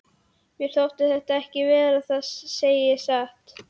Mér þótti það ekki verra, það segi ég satt.